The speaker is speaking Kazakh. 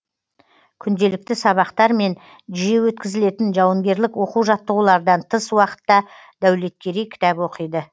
күнделікті сабақтар мен жиі өткізілетін жауынгерлік оқу жаттығулардан тыс уақытта дәулеткерей кітап оқиды